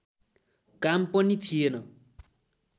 काम पनि थिएन